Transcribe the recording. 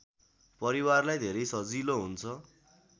परिवारलाई धेरै सजिलो हुन्छ